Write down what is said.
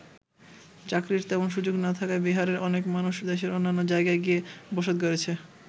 চাকরির তেমন সুযোগ না থাকায় বিহারের অনেক মানুষ দেশের অন্যান্য জায়গায় গিয়ে বসত গড়েছে।